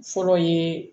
Fɔlɔ ye